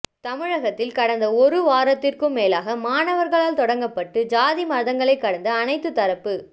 தமிழகத்தில் கடந்த ஒரு வாரத்திற்கு மேலாக மாணவர்களால் தொடங்கப்பட்டு சாதி மதங்களை கடந்து அனைத்து தரப்பு